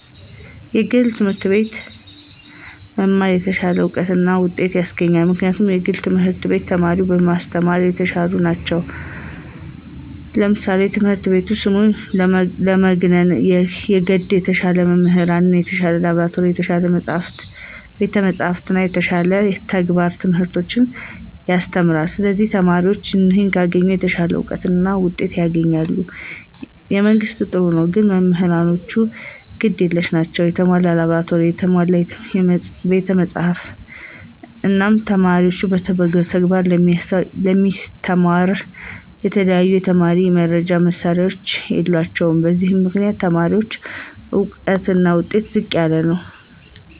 የግል ትምህርት አቤት መማር የተሻለ እውቀት እና ውጤት ያሰገኛል ምክንያቱም የግል ትምህርት ቤት ተማሪን በማሰተማራ የተሻሉ ነቸው ለምሳሌ ትምህረት ቤቱ ስሙን ለማግነነ የገድ የተሻሉ መምህራን፣ የተሻለ ላብራቶሪ፣ የተሻለ ቤተ መፅሐፍት እና የተሻለ የተግባረ ትምህርቶች ያሰተምራለ ስለዚህ ተማሪዎችም ይህን ካገኙ የተሻለ አውቀት እና ውጤት ያስገኛል። የመንግስት ጥሩ ነው ግን መምህራኖቹ ግድ የለሽ ናቸው የተሞላ ላብራቶሪ፣ ቤተ መፅሐፍ፣ እነ ተማሪን በተግባር ለማስተማራ የተለያዩ የተማሪ መርጃ መሳሪያዎች የላቸውም በዚህ ምክንያት የተማሪዎች እውቀትና ውጤት ዝቅ ይላል።